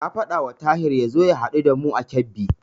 Na faɗawa Tahir ya zo ya haɗu da mu a Kebbi.